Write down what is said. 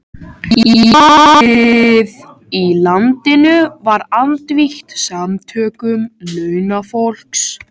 Íhaldið í landinu var andvígt samtökum launafólks.